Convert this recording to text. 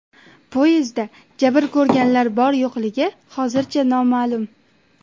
Poyezdda jabr ko‘rganlar bor-yo‘qligi hozircha noma’lum.